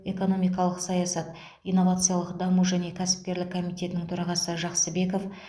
экономикалық саясат инновациялық даму және кәсіпкерлік комитетінің төрағасы жақсыбеков